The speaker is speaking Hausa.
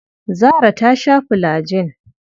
Zarah ta sha fulajin.